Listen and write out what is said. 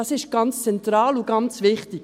Das ist ganz zentral und ganz wichtig.